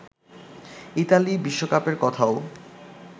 Italy বিশ্বকাপের কথাও